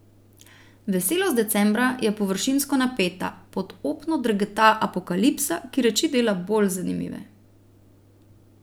Veselost decembra je površinsko napeta, pod opno drgeta apokalipsa, ki reči dela bolj zanimive.